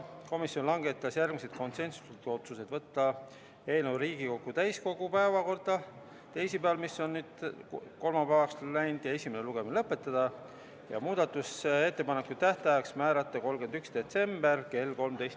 Komisjon langetas järgmised konsensuslikud otsused: võtta eelnõu Riigikogu täiskogu päevakorda teisipäevaks, mis on nüüd kolmapäevaks üle läinud, esimene lugemine lõpetada ja muudatusettepanekute tähtajaks määrata 31. detsember kell 13.